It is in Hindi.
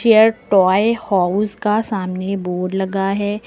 यह टॉय हाउस का सामने बोर्ड लगा है।